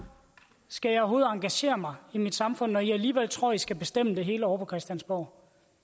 skal jeg overhovedet engagere mig i mit samfund når i alligevel tror i skal bestemme det hele ovre på christiansborg